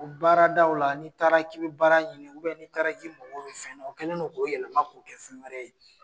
U baara daw la, ni taara'i bɛ baara ɲini n' taara ki bɛ mɔgɔw fɛ o kɛlen' k'o yɛlɛma k'o kɛ fɛn wɛrɛ ye.